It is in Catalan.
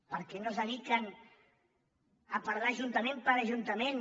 per què no es dediquen a parlar ajuntament per ajuntament